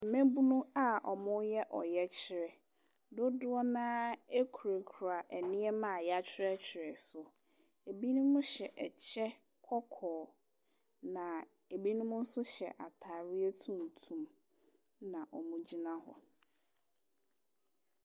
Mmabunu a wɔreyɛ ɔyɛkyerɛ. Dodoɔ no ara kurakura nneɛma a wɔatwerɛtwerɛ so. Ebinom hyɛ kyɛ kɔkɔɔ, na ebinom nso hyɛ atareɛ tuntum ɛnna wɔgyina hɔ.